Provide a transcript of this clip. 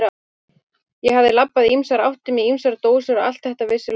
Ég hafði labbað í ýmsar áttir með ýmsar dósir og allt þetta vissi lögreglan.